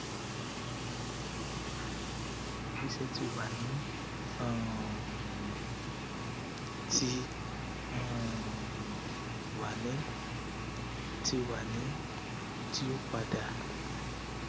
ẹsẹ ti wa ni um ti um wa ni ti wa ni ti o pada